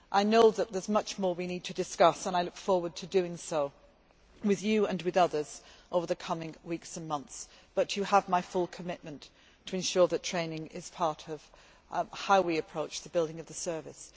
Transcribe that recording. I know that there is much more we need to discuss and I look forward to doing so with you and with others over the coming weeks and months, but you have my full commitment to ensuring that training is part of how we approach the building of the service.